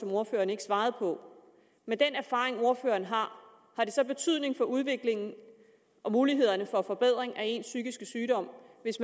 ordføreren ikke svarede på med den erfaring ordføreren har har det så betydning for udviklingen af og mulighederne for forbedring af ens psykiske sygdom hvis